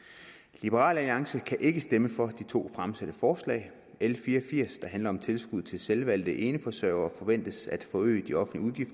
liberal alliance kan ikke stemme for de to fremsatte forslag l fire og firs der handler om tilskud til selvvalgte eneforsørgere forventes at forøge de offentlige